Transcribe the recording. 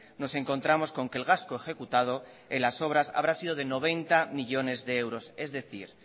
nos encontramos con que el gasto ejecutado en las obras habrá sido de noventa millónes de euros es decir